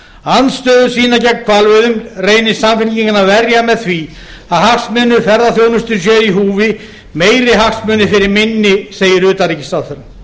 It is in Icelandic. andstöðu sína gegn hvalveiðum reynir samfylkingin að verja með því að hagsmunir ferðaþjónustu séu í húfi meiri hagsmunir fyrir minni segir utanríkisráðherra